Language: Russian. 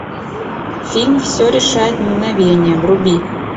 фильм все решает мгновение вруби